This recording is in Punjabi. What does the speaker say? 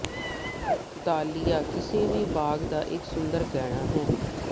ਦਾਹਲਿਆ ਕਿਸੇ ਵੀ ਬਾਗ ਦਾ ਇਕ ਸੁੰਦਰ ਗਹਿਣਾ ਹੈ